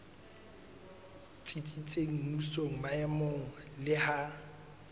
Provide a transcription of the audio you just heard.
tsitsitseng mmusong maemong le ha